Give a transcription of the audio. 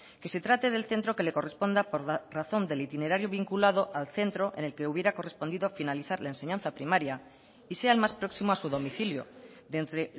que se trate del centro que le corresponda por razón del itinerario vinculado al centro en el que hubiera correspondido finalizar la enseñanza primaria y sea el más próximo a su domicilio de entre